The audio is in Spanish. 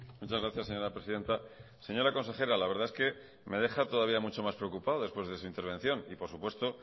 muchas gracias señora presidenta señora consejera la verdad es que me deja todavía mucho más preocupado después de su intervención y por supuesto